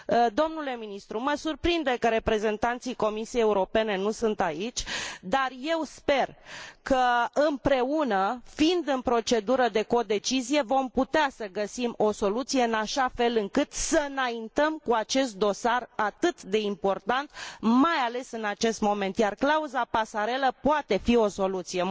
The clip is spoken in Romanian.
Domnule ministru, mă surprinde că reprezentanții Comisiei Europene nu sunt aici, dar eu sper că împreună, fiind în procedură de codecizie, vom putea să găsim o soluție în așa fel încât să înaintăm cu acest dosar atât de important, mai ales în acest moment. Iar clauza pasarelă poate fi o soluție.